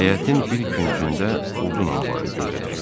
Həyətin bir küncündə odun anbarı gözə dəyir.